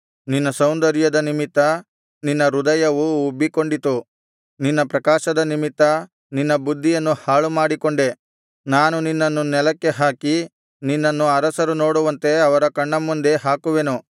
ನಿನ್ನ ಸೌಂದರ್ಯದ ನಿಮಿತ್ತ ನಿನ್ನ ಹೃದಯವು ಉಬ್ಬಿಕೊಂಡಿತು ನಿನ್ನ ಪ್ರಕಾಶದ ನಿಮಿತ್ತ ನಿನ್ನ ಬುದ್ಧಿಯನ್ನು ಹಾಳು ಮಾಡಿಕೊಂಡೆ ನಾನು ನಿನ್ನನ್ನು ನೆಲಕ್ಕೆ ಹಾಕಿ ನಿನ್ನನ್ನು ಅರಸರು ನೋಡುವಂತೆ ಅವರ ಕಣ್ಣ ಮುಂದೆ ಹಾಕುವೆನು